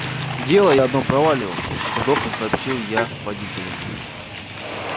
дело я одно провалил со вдохом сообщил я водителю